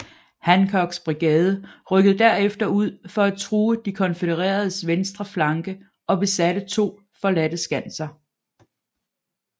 Hancocks brigade rykkede derefter ud for at true de konfødereredes venstre flanke og besatte to forladte skanser